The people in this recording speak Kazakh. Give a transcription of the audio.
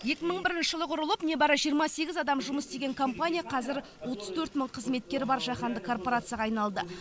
екі мың бірінші жылы құрылып небәрі жиырма сегіз адам жұмыс істеген компания қазір отыз төрт мың қызметкері бар жаһандық корпорацияға айналды